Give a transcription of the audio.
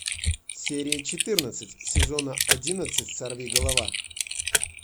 серия четырнадцать сезона одиннадцать сорвиголова